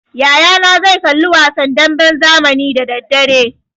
Yaya na zai kalli wasan damben zamani da daddare.